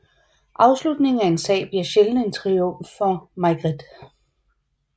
Afslutningen af en sag bliver sjældent en triumf for Maigret